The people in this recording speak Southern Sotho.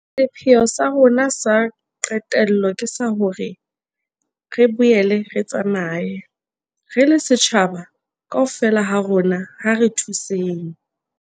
Sepheo sa rona sa qetello ke sa hore re boele re tsamaye. Re le setjhaba, kaofela ha rona ha re thuseng.